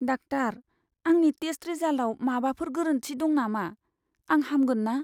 Doctor, आंनि test रिजाल्टआव माबाफोर गोरोन्थि दं नामा? आं हामगोन ना?